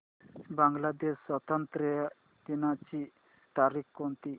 बांग्लादेश स्वातंत्र्य दिनाची तारीख कोणती